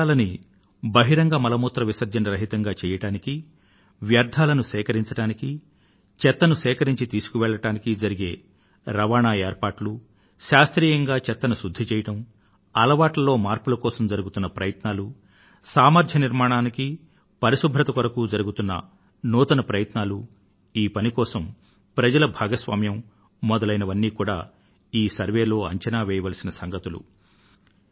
నగరాలను బహిరంగ మల మూత్రాదుల విసర్జన రహితంగా చెయ్యడానికి వ్యర్థాలను సేకరించడానికి చెత్తను సేకరించి తీసుకువెళ్ళడానికి జరిగే రవాణా ఏర్పాట్లు శాస్త్రీయంగా చెత్తను శుద్ధి చేయడం అలవాట్లలో మార్పుల కోసం జరుగుతున్న ప్రయత్నాలు సామర్థ్య నిర్మాణానికి మరియు పరిశుభ్రత కోసం జరుగుతున్న నూతన ప్రయత్నాలూ ఈ పని కోసం ప్రజల భాగస్వామ్యం మొదలైనవన్నీ కూడా ఈ సర్వేక్షణలో అంచనా వేయవలసిన సంగతులు